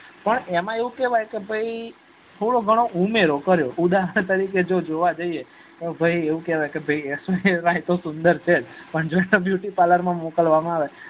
પણ એમાં એવું કેવાય કે ભાઈ થોડો ઘણો ઉમેરો કયો ઉદારણ તરીકે જોવા જઈએ તો ભાઈ એવું કેવાય ક ભાઈ એતો સુંદર છે પણ એને beauty parlor માં મોકલવામાં આવે